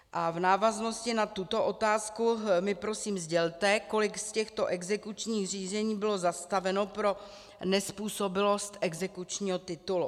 A v návaznosti na tuto otázku mi prosím sdělte, kolik z těchto exekučních řízení bylo zastaveno pro nezpůsobilost exekučního titulu.